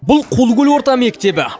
бұл қулыкөл орта мектебі